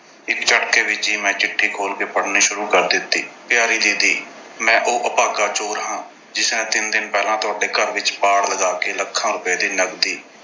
ਇੱਕ ਝਟਕੇ ਵਿੱਚ ਹੀ ਮੈਂ ਚਿੱਠੀ ਖੋਲ੍ਹ ਕੇ ਪੜ੍ਹਨੀ ਸ਼ੁਰੂ ਕਰ ਦਿੱਤੀ। ਪਿਆਰੀ ਦੀਦੀ, ਮੈਂ ਉਹ ਅਭਾਗਾ ਚੋਰ ਹਾਂ ਜਿਸਨੇ ਤਿੰਨ ਦਿਨ ਪਹਿਲਾਂ ਤੁਹਾਡੇ ਘਰ ਵਿੱਚ ਪਾੜ ਲਗਾ ਕੇ lakhs ਰੁਪਏ ਦੀ ਨਗਦੀ